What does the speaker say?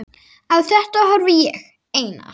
Á þetta horfði ég, Einar